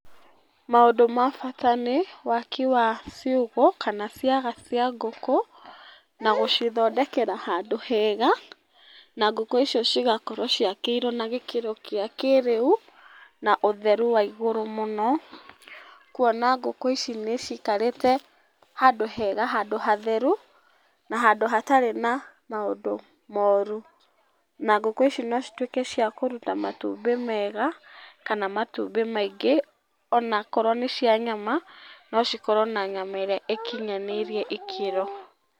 Maũndũ ma bata nĩ waki wa ciugũ, kana ciaga cia ngũkũ, na gũcithondekera handũ hega, na ngũkũ icio cigakorwo ciakĩirwo na gĩkĩro kĩa kĩrĩu, na ũtheru wa igũrũ mũno, kwona ngũkũ ici nĩ cikarĩte handũ hega, handũ hatheru na handũ hatarĩ na maũndũ moru. Na ngũkũ ici no citwĩke cia kũruta matumbĩ mega kana matumbĩ maingĩ ona akorwo nĩ cia nyama no cikorwo na nyama ĩrĩa ĩkinyanĩirie ikĩro.